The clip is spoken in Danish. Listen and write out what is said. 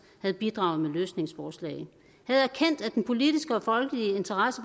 havde bidraget med løsningsforslag havde erkendt at den politiske og folkelige interesse